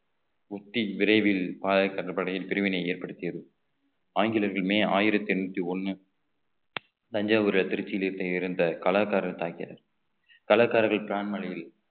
உத்தி விரைவில் பாளையர் கடற்படையின் பிரிவினையை ஏற்படுத்தியது ஆங்கிலேயர்கள் மே ஆயிரத்தி எண்ணூத்தி ஒண்ணு தஞ்சாவூர்ல திருச்சியில் இருந்து கலாகாரர் தாக்கியது தலக்கர்கள் பிரான்மணியில்